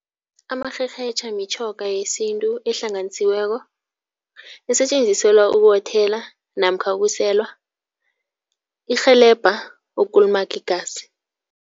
Amarherhetjha mitjhoga yesintu ehlanganisiweko. Isetjenziselwa ukuwothela namkha ukuselwa. Irhelebha ukukulumaga igazi.